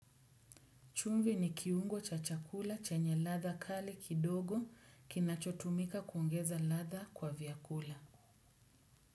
Chumvi ni kiungo cha chakula chenye ladha kali kidogo kinachotumika kuongeza ladha kwa vyakula.